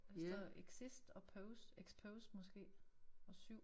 Og der står exist og pose expose måske og 7